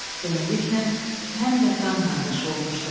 Beləliklə həm də qan qardaşı olmuşduq.